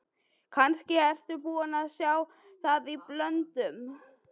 Kannski ertu búinn að sjá það í blöðunum.